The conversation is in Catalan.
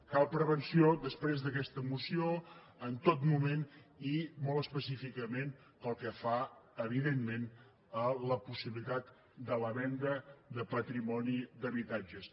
cal prevenció després d’aquesta moció en tot moment i molt específicament pel que fa evidentment a la possibilitat de la venda de patrimoni d’habitatges